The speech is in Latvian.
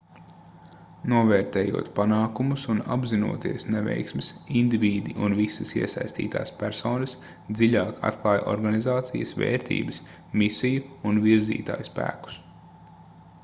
novērtējot panākumus un apzinoties neveiksmes indivīdi un visas iesaistītās personas dziļāk atklāj organizācijas vērtības misiju un virzītājspēkus